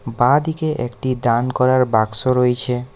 বাঁ দিকে একটি দান করার বাক্স রয়েছে।